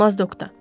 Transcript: Mazdokta.